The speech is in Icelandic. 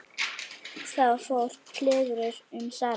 Þá fór kliður um salinn.